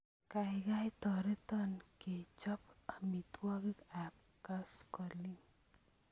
Kaikai toreton kechop amitwogik ap koskoling'